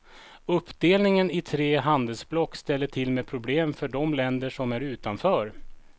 Uppdelningen i tre handelsblock ställer till med problem för de länder som är utanför.